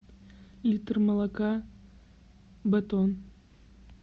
литр молока батон